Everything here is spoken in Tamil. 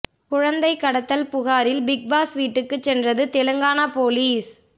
குழந்தை கடத்தல் புகாரில் பிக் பாஸ் வீட்டுக்குச் சென்றது தெலங்கானா போலீஸ்